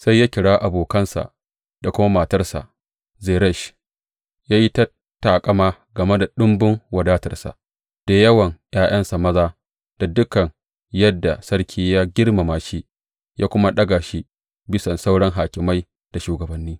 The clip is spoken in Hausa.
Sai ya kira abokansa da kuma matarsa, Zeresh, ya yi ta taƙama game da ɗumbun wadatarsa, da yawan ’ya’yansa maza, da dukan yadda sarki ya girmama shi, ya kuma ɗaga shi bisan sauran hakimai da shugabanni.